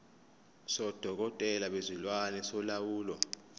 sodokotela bezilwane solawulo